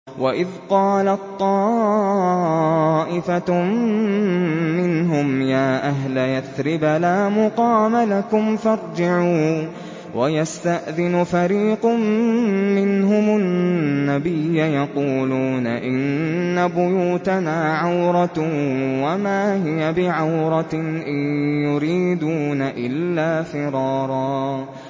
وَإِذْ قَالَت طَّائِفَةٌ مِّنْهُمْ يَا أَهْلَ يَثْرِبَ لَا مُقَامَ لَكُمْ فَارْجِعُوا ۚ وَيَسْتَأْذِنُ فَرِيقٌ مِّنْهُمُ النَّبِيَّ يَقُولُونَ إِنَّ بُيُوتَنَا عَوْرَةٌ وَمَا هِيَ بِعَوْرَةٍ ۖ إِن يُرِيدُونَ إِلَّا فِرَارًا